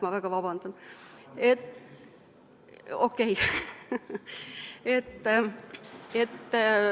Ma väga vabandan!